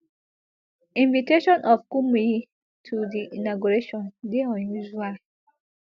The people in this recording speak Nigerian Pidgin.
invitation of kumuyi to di inauguration dey unusual